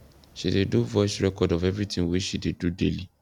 she dey do voice record of everything we she dey do daily